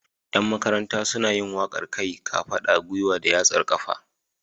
Yan Makaranta suna yin waƙar kai, kafaɗa, gwiwa da yatsar ƙafa.